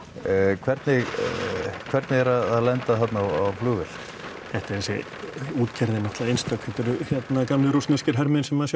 hvernig hvernig er að lenda þarna á flugvél þetta er þessi útgerð er náttúrulega einstök þetta eru gamlir rússneskir hermenn sem sjá